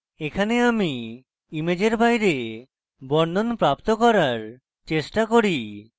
এখানে আমি ইমেজের বাইরে বর্ণন প্রাপ্ত করার চেষ্টা করি